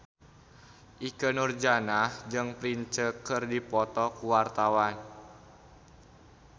Ikke Nurjanah jeung Prince keur dipoto ku wartawan